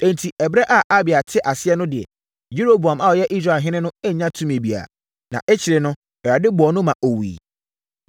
Enti, ɛberɛ a Abia te ase no deɛ, Yeroboam a ɔyɛ Israelhene annya tumi biara, na akyire no, Awurade bɔɔ no ma ɔwuiɛ.